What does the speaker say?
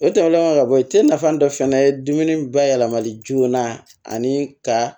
O tɛmɛnen kɔ ka bɔ yen te nafa dɔ fɛnɛ ye dumuni bayɛlɛmali joona ani ka